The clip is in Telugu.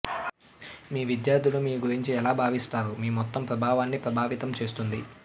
మీ విద్యార్ధులు మీ గురించి ఎలా భావిస్తారు మీ మొత్తం ప్రభావాన్ని ప్రభావితం చేస్తుంది